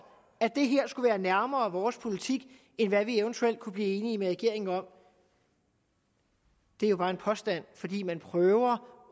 at det her skulle være nærmere vores politik end hvad vi eventuelt kunne blive enige med regeringen om er jo bare en påstand fordi man prøver